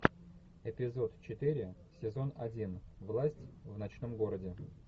эпизод четыре сезон один власть в ночном городе